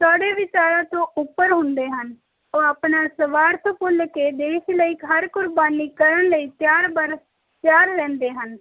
ਸਾਰੇ ਵਿਚਾਰਾਂ ਤੋਂ ਉੱਪਰ ਹੁਣੇ ਹਨ ਉਹ ਆਪਣਾ ਸਵਾਰਥ ਭੁੱਲ ਕੇ ਹਰ ਕੁਰਬਾਨੀ ਕਰਨਲੀ ਤਿਆਰ ਬਰ ਤਿਆਰ ਰਹਿੰਦੇ ਹਨ